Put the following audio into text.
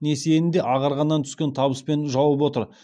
несиені де ағарғаннан түскен табыспен жауып отыр